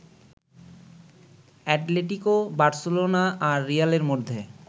Atletico, Barcelona আর রিয়ালের মধ্যে